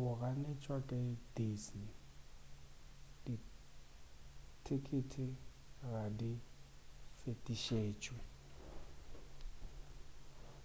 o ganetšwa ke disney dithekete ga di fetišetšwe